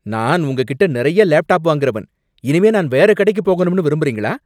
நான் உங்ககிட்ட நெறைய லேப்டாப் வாங்குறவன். இனிமே நான் வேற கடைக்குப் போகணும்னு விரும்புறீங்களா?